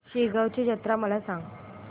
शेगांवची जत्रा मला सांग